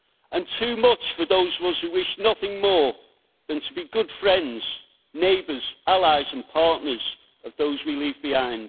And too much for those of us who wish nothing more than to be good friends, neighbours, allies and partners of those we leave behind.